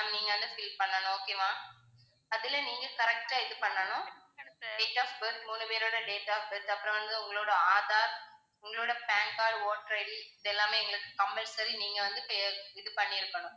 நீங்க வந்து fill பண்ணனும் okay வா? அதுல நீங்க correct ஆ இது பண்ணனும் date of birth மூணு பேரோட date of birth அப்புறம் வந்து உங்களோட aadhar உங்களோட pan card, voter ID இதெல்லாமே எங்களுக்கு compulsory நீங்க வந்து இது பண்ணி இருக்கணும்.